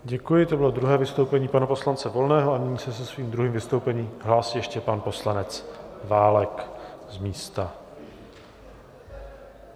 Děkuji, to bylo druhé vystoupení pana poslance Volného a nyní se se svým druhým vystoupením hlásí ještě pan poslanec Válek z místa.